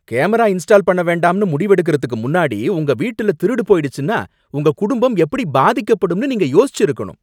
Camera install பண்ண வேண்டாம்னு முடிவெடுக்குறதுக்கு முன்னாடி உங்க வீட்டுல திருடு போயிடுச்சுன்னா உங்க குடும்பம் எப்படி பாதிக்கப்படும்னு நீங்க யோசிச்சிருக்கணும்.